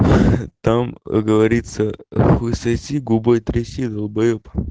там говорится хуй соси губой тряси долбаеб